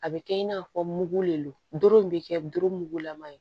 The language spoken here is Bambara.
A bɛ kɛ i n'a fɔ mugu de don bɛ kɛ doro mugulama ye